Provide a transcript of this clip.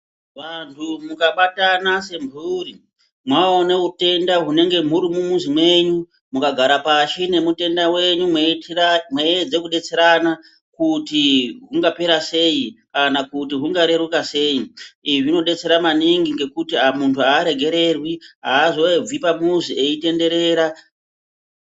Vantu mukabatana semphuri maone hutenda hunenge huri mumizi mwenyu mukagara pashi nemutenda wenyu maiedza kudetserana kuti ungapera sei kana kuti hungareruka sei. Izvii zvinodetsera maningi ngekuti muntu aaregererwi azooregwi pamuzi aitenderera .